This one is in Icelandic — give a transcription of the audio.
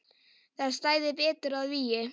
Það stæði betur að vígi.